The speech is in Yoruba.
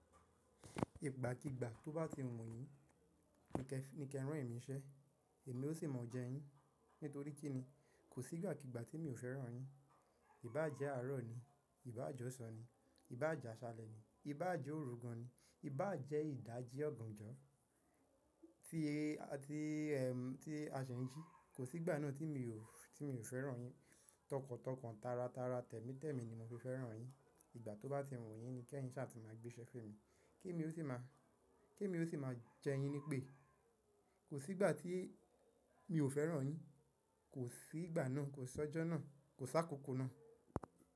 Ìgbàkígbà tó bá ti wù yín ni kí ẹ rán emi nsẹ́, èmi ó sì mọ̀ọ́ jẹ yín. Nítorí kí ni kò sí ìgbàkígbà tí mi ò fẹ́ràn yín. Ìbá jẹ́ àárọ̀ ni, ìbá jọ́san ni, ìbá jàṣalẹ̀ ni, ìbá jẹ́ òru gan ni, ìbá jẹ́ ìdajì ọ̀ganjọ tí, tí ẹ, tí a ṣe ń jí. Kò sí ìgbà náà tí mi ò, tí mi ò fẹ́ràn yín. Tọkàntọkàn, tàratara, tẹ̀mítẹ̀mi ni mo fi fẹ́ràn yín. Ìgbà tó bá ti wù yín ni ni kí ẹ yín ṣáà tí máa gbé iṣẹ́ fún mi, kí èmi ó sì máa, kí èmi ó sì máa jẹ yín ní pé kò sí ìgbà tí mi ò fẹ́ràn yín. Kò sí ìgbà náà, kò sí ọjọ́ náà, kò sí àkókò náà.